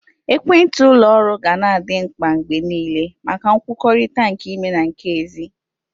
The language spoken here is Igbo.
Ekwentị ụlọ oru ga na adị mkpa mgbe niile maka nkwukọrịta nke ime na nke ezi.